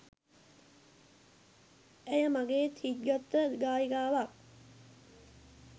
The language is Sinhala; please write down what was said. ඇය මගේත් හිත් ගත්ත ගායිකාවක්